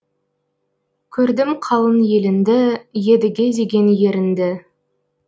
көрдім қалың еліңді едіге деген еріңді